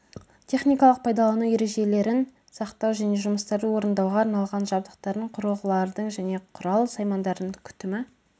техникалық пайдалану ережелерін сақтау және жұмыстарды орындауға арналған жабдықтардың құрылғылардың және құрал-саймандардың күтімі